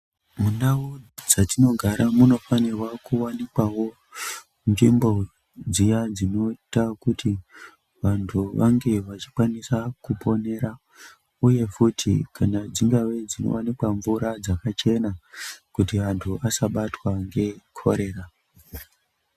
Mundau dzatinogara munofanikawo kuwanikwawo nzvimbo dzawo dzinoita kuti vanokwanisa kuponera kuti dzingava dzakachena kuti vantu vasabatwa ngekorera.